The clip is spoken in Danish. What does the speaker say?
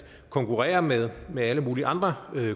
konkurrere med med alle mulige andre